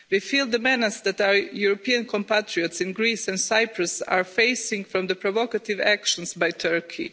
We feel the menace that our European compatriots in Greece and Cyprus are facing from the provocative actions by Turkey.